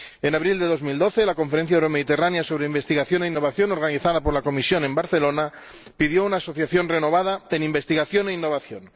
En abril de 2012, la Conferencia Euromediterránea sobre Investigación e Innovación, organizada por la Comisión en Barcelona, pidió una asociación renovada en investigación e innovación.